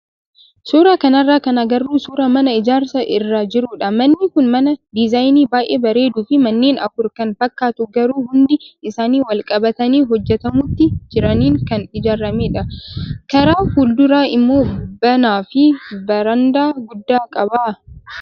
Suuraa kanarraa kan agarru suuraa mana ijaarsa irra jirudha. Manni kun mana diizaayinii baay'ee bareeduu fi manneen afur kan fakkaatu garuu hundi isaanii wal qabatanii hojjatamuutti jiraniin kan ijaaramedha. Karaa fuulduraa immoo banaa fi barandaa guddaa qaba.